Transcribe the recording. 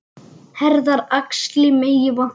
Herðar og axlir megi vanta.